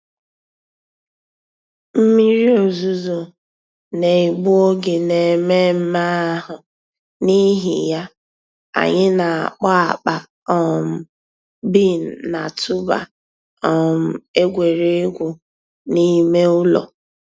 Mmírí òzùzọ̀ nà-ègbù ògè n'èmẹ̀mmẹ̀ àhụ̀, n'ìhì yà, ànyị̀ nà-àkpọ̀ àkpà um bean nà-̀tụ̀bà um ègwè́ré́gwụ̀ n'ìmè ǔlọ̀.